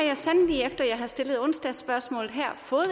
jeg sandelig efter jeg har stillet onsdagsspørgsmålet her fået